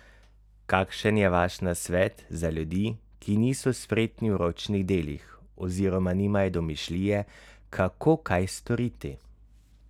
Kakšen je vaš nasvet za ljudi, ki niso spretni v ročnih delih oziroma nimajo domišljije, kako kaj storiti?